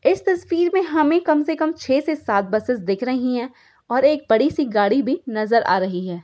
इस तस्वीर मे हमे कम से कम छे से सात बसेस दिख रही है और एक बड़ी सी गाडी भी नजर आ रही है।